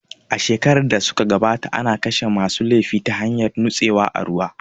A shekarun da su ka gabata ana kashe ma su laifi ta hanyar nutsewa a ruwa